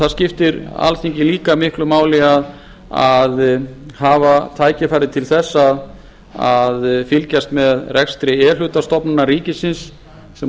það skiptir alþingi líka miklu máli að hafa tækifæri til þess að fylgjast með rekstri e hluta stofnana ríkisins sem